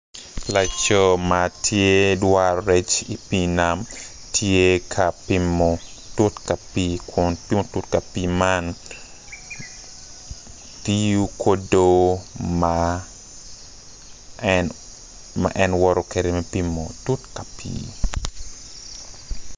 Laco ma tye dwaro rec ki i pii nam tye ka pimo tut pa pii man kin tut pa pii man tiyo kudo ma en woto kwede me pimo tut pa pii.